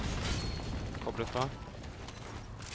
koble fra